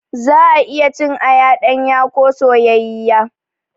Za'a iya cin aya ɗanya ko soyayyiya.